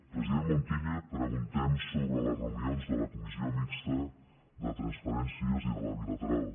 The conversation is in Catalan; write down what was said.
president montilla preguntem sobre les reunions de la comissió mixta de transferències i la de la bilateral